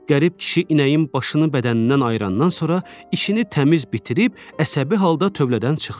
Qərib kişi inəyin başını bədənindən ayırandan sonra işini təmiz bitirib əsəbi halda tövlədən çıxdı.